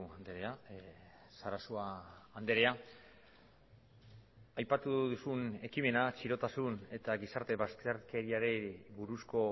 andrea sarasua andrea aipatu duzun ekimena txirotasun eta gizarte bazterkeriari buruzko